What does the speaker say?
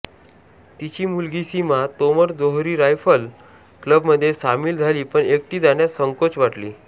तिची मुलगी सीमा तोमर जोहरी रायफल क्लबमध्ये सामील झाली पण एकटी जाण्यास संकोच वाटली